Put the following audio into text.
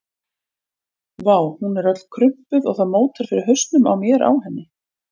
Vá, hún er öll krumpuð og það mótar fyrir hausnum á mér á henni.